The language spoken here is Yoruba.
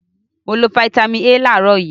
Mo lo fataímìn A láàárọ̀ yìí.